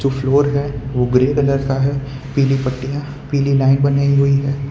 जो फ्लोर है वो ग्रीन कलर का है पीली पट्टियां पीली लाइन बनाई हुई हैं।